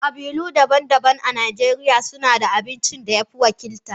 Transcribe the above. Kabilu daban-daban a Najeriya suna da abincin da ya fi wakilta.